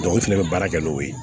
u fɛnɛ bɛ baara kɛ n'o ye